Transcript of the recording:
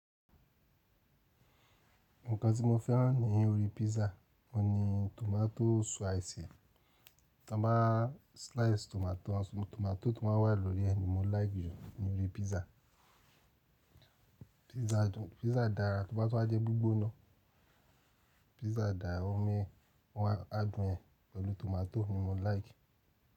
Nǹkan tí mo fẹ́ràn ní orí pizza ohun ni tomato spice Tí wọ́n bá slice tomato, tomato tó máa ń wà lórí ẹ ni mo láìkì jù ní orí pizza. Pizza dára toba tun waá jẹ́ gbígbóná. Pizza dára omi adùn ẹ pẹ̀lú tomato ni mo like.